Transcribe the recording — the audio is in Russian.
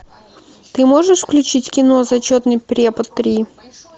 ты можешь включить кино зачетный препод три